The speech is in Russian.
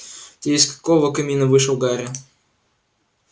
ты из какого камина вышел гарри